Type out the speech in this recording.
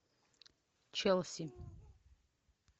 челси